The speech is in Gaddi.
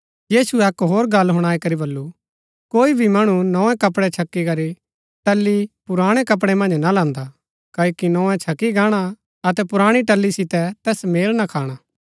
यीशुऐ अक्क होर गल्ल हुणाई करी वलू कोई भी मणु नोए कपडै छकी करी टल्ली पुराणै कपडै मन्ज ना लान्दा क्ओकि नोए छकी गाणा अतै पुराणी टल्ली सितै तैस मेल ना खाणा